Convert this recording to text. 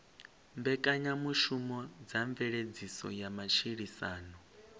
mbekanyamushumo dza mveledziso ya matshilisano